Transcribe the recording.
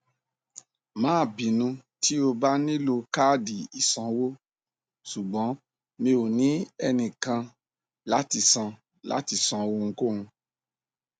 má bínú tí o bá nílò káàdì ìsanwó ṣùgbọn mi ò ní ẹnìkan láti san láti san ohunkóhun